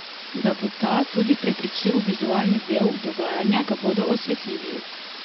Da bo ta tudi prepričljiv vizualni del dogajanja, ga bodo osvetlili.